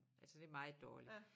Altså det meget dårligt